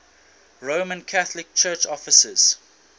roman catholic church offices